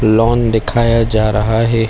loan दिखाया जा रहा है